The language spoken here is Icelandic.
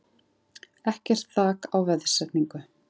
Ekkert þak á veðsetningu